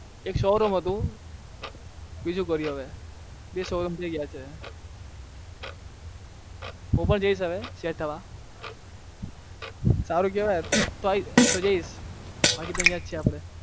એક showroom હતું બીજું કરીએ હવે બે થઇ ગયા છે બાકી તો અહિયાં જ છે